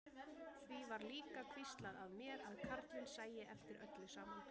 Því var líka hvíslað að mér að karlinn sæi eftir öllu saman.